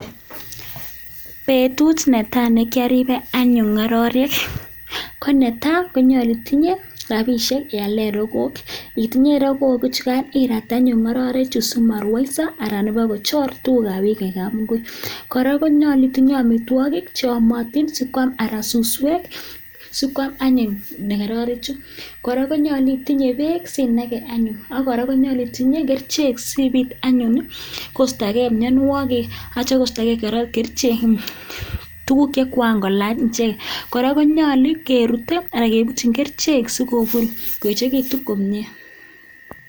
Betut netai nekiaribe anyun ngororik konetai konyalu itinye rabisiek iale rokook itinye rokook chukai irat anyun ngororek simarwoiso anan nebo kochor tugukab biik eng kabungui kora konyalu itinye amitwokik che yomiotin sikwam haraka suswek sikwam anyun ngororek chu kora konyalu itinye beek ak kora konyalu itinye kerchek siibit anyun koistogei mianwokik atya koistokei kerchek tuguk che kokakolany ichek nyalu kerute anan kebutyin kerchek sikobur koechekitu komye.